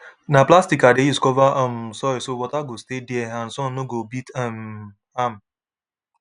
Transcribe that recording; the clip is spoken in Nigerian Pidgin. na plastic i dey use cover um soil so water go stay there and sun no go beat um am